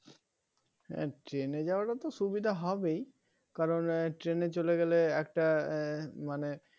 উহ হ্যাঁ train যাওয়াটা তো সুবিধা হবেই কারণ train চলে গেলে একটা এর মানে